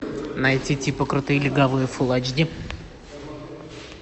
найти типа крутые легавые фулл айч ди